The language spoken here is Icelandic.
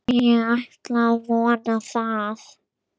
Ég ætla að vona það.